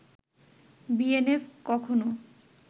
BNF কখনও